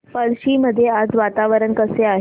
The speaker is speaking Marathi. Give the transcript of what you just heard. पळशी मध्ये आज वातावरण कसे आहे